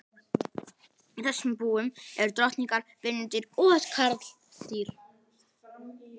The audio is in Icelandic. Í þessum búum eru drottningar, vinnudýr og karldýr.